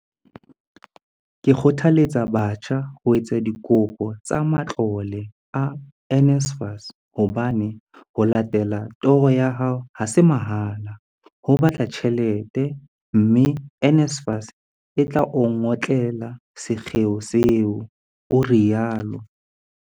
Ke kgothaletsa batjha ho etsa dikopo tsa matlole a NSFAS hobane ho latella toro ya hao ha se mahala, ho batla tjhelete, mme NSFAS e tla o ngotlela sekgeo seo, o rialo.